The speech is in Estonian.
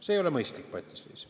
See ei ole mõistlik patiseis.